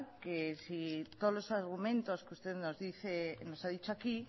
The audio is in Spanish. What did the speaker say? que si todos los argumentos que usted nos dice nos ha dicho aquí